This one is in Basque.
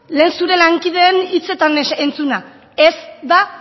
lehen zure lankideen hitzetan entzuna ez da